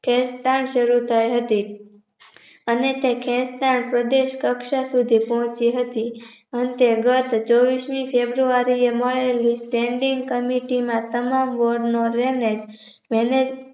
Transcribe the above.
ખેંચ તાણ સરું થઇ હતી અને તે ખેંચ તાણ સંદેશ સુધી પહોચી હતી અંતે ગત ચોવીશ ની ફેબ્રુઆરીએ મળેલી Standing Committee માં તમામ Drainage